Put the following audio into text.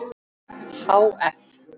Há eff.